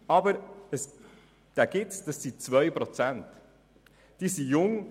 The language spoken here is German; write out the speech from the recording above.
Es handelt sich um 2 Prozent der Sozialhilfebeziehenden: